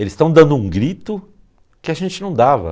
Eles estão dando um grito que a gente não dava.